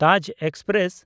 Taj express